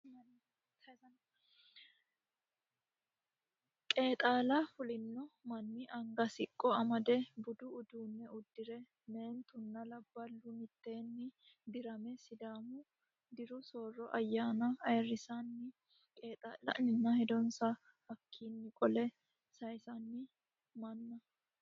Qeexaho fulino manni anga siqqo amade budu uduunne uddire meentuno labballuno mitteenni dirame sidaamu diru soorro ayyaana aayirisanni qeexa'lanninna hedonsa hakkaanni qole saaysanno manna